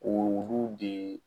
Olu de